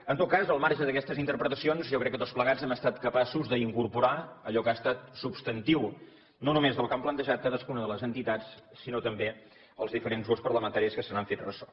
en tot cas al marge d’aquestes interpretacions jo crec que tots plegats hem estat capaços d’incorporar allò que ha estat substantiu no només del que han plantejat cadascuna de les entitats sinó també els diferents grups parlamentaris que se n’han fet ressò